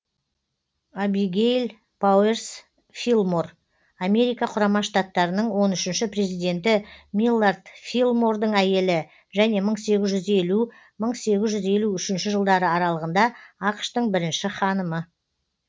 абигейл пауэрс филлмор америка құрама штаттарының он үшінші президенті миллард филлмордың әйелі және мың сегіз жүз елу мың сегіз жүз елу үшінші жылдары аралығында ақш тың бірінші ханымы